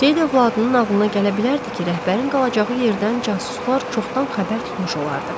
Seyid övladının ağlına gələ bilərdi ki, rəhbərin qalacağı yerdən casuslar çoxdan xəbər tutmuş olardılar.